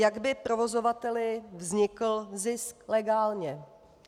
Jak by provozovateli vznikl zisk legálně?